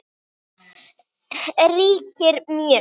ríkir mjög.